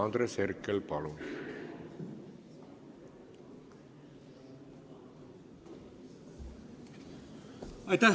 Andres Herkel, palun!